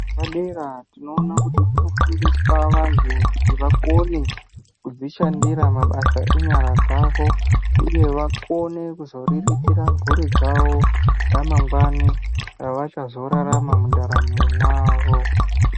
Zvepadera tinoona kuti kunofundiswa vanhu kuti vakone kudzishandira mabasa enyara dzavo uye vakone kuzoriritira mhuri dzawo ramangwani ravachazorarama mundaramwo mwavo.